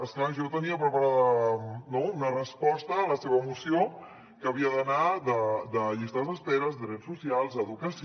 és clar jo tenia preparada una resposta a la seva moció que havia d’anar de llistes d’espera drets socials educació